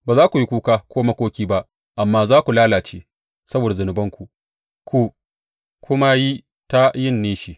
Ba za ku yi kuka ko makoki ba amma za ku lalace saboda zunubanku ku kuma yi ta yin nishi.